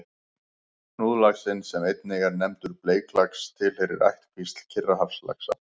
Hnúðlaxinn, sem einnig er nefndur bleiklax, tilheyrir ættkvísl Kyrrahafslaxa.